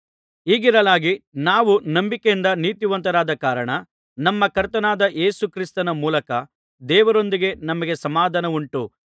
ಹೀಗಿರಲಾಗಿ ನಾವು ನಂಬಿಕೆಯಿಂದ ನೀತಿವಂತರಾದ ಕಾರಣ ನಮ್ಮ ಕರ್ತನಾದ ಯೇಸು ಕ್ರಿಸ್ತನ ಮೂಲಕ ದೇವರೊಂದಿಗೆ ನಮಗೆ ಸಮಾಧಾನವುಂಟು